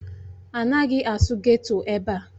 Anaghị asụ geto ebe a!